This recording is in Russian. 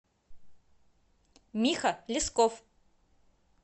миха лесков